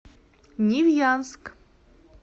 невьянск